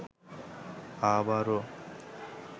আবারো